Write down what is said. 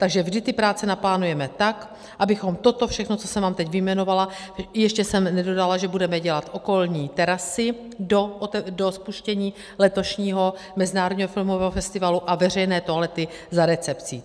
Takže vždy ty práce naplánujeme tak, abychom toto všechno, co jsem vám teď vyjmenovala - ještě jsem nedodala, že budeme dělat okolní terasy do spuštění letošního Mezinárodního filmového festivalu a veřejné toalety za recepcí.